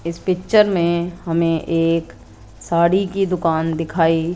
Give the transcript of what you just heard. इस पिक्चर में हमें एक साड़ी की दुकान दिखाई--